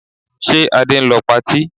Ṣe Adé ń lọ patí?